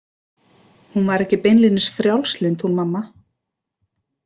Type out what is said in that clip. Hún var ekki beinlínis frjálslynd hún mamma.